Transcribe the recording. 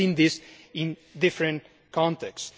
We have seen this in different contexts.